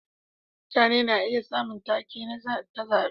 Mutane na iya samun take ta zabe.